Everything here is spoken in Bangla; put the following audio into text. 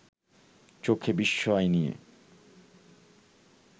চোখে বিস্ময় নিয়ে